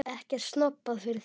Er ekkert snobbað fyrir þér?